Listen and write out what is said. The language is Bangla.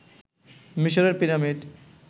মিশরের পিরামিড